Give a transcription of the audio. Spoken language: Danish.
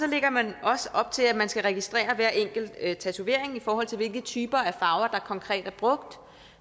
lægger man også op til at man skal registrere hver enkelt tatovering i forhold til hvilke typer af farver der konkret er brugt